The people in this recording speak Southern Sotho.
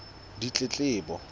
ditletlebo